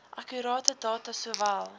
akkurate data sowel